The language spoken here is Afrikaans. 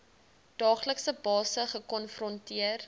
daaglikse basis gekonfronteer